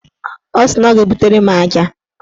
Ọ sị na ọ ga-ebutere m aja.